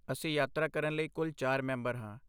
ਅਸੀਂ ਯਾਤਰਾ ਕਰਨ ਲਈ ਕੁੱਲ ਚਾਰ ਮੈਂਬਰ ਹਾਂ